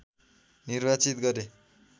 निर्वाचित गरे